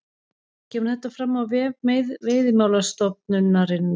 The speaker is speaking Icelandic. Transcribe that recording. Kemur þetta fram á vef Veiðimálastofnunar